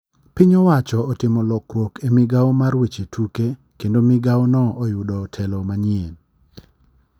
Piny owacho otimo lokruok e migao mar weche tuke ,kendo migao no oyudo telo manyien.